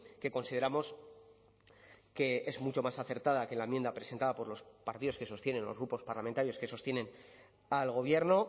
que consideramos que es mucho más acertada que la enmienda presentada por los partidos que sostienen o los grupos parlamentarios que sostienen al gobierno